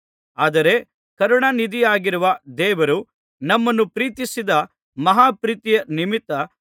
ಆದರೆ ಕರುಣಾನಿಧಿಯಾಗಿರುವ ದೇವರು ನಮ್ಮನ್ನು ಪ್ರೀತಿಸಿದ ಮಹಾ ಪ್ರೀತಿಯ ನಿಮಿತ್ತ